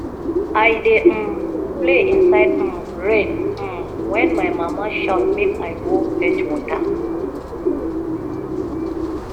i dey um play inside um rain um wen my mama shout make i go fetch water